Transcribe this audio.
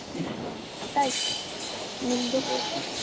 ಹಾ ಊಟ ಆಯ್ತು, ನಿಮ್ದು?